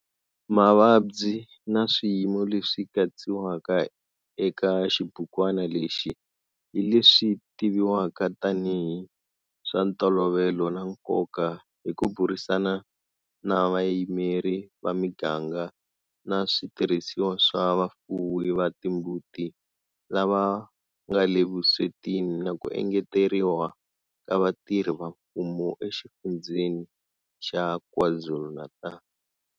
Mavabyi na swiyimo leswi katsiwaka eka xibukwana lexi hi leswi tiviviwaka tanihi hi swa ntolovelo na nkoka hi ku burisana na vayimeri va miganga na switirhisiwa swa vafuwi va timbuti lava nga le vuswetini na ku engeteriwa ka vatirhi va mfumo eXifundzheni xa KwaZulu-Natal.